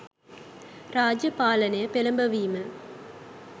රාජ්‍ය පාලනය පෙළඹවීම